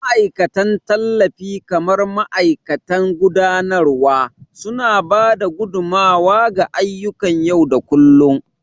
Ma'aikatan tallafi kamar mataimakan gudanarwa, suna ba da gudummawa ga ayyukan yau da kullun.